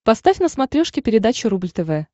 поставь на смотрешке передачу рубль тв